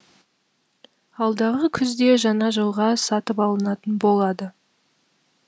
алдағы күзде жаңа жылға сатып алынатын болады